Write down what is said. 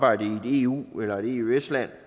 jo